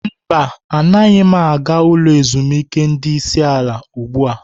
Mba, anaghị m aga ulo ezimuike ndi isi ala ugbu a.